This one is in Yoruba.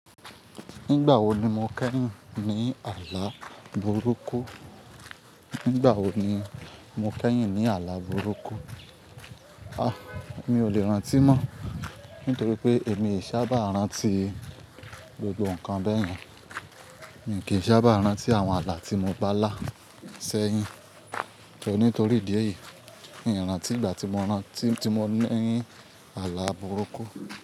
Ngbà wo ni mo kẹ́yìn ní ààlà burúkú? Nígbà wo ni mo kẹ́yìn ní ààlà burúkú? A! Mi ò lè rántí mọ́, nítorí pé èmi ìṣá bá rántí gbogbo nǹkan bẹ́yẹn. Mi kì í sábà rántí àwọn ààlà tí mo bá lá sẹ́yìn. E nítorí ìdí èyí, mí i rántí ngbà tí mo rántí tí mo ní i ààlà burúkú.